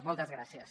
moltes gràcies